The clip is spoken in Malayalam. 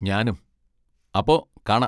ഞാനും, അപ്പൊ, കാണാ.